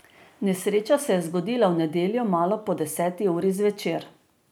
Nesreča se je zgodila v nedeljo malo po deseti uri zvečer.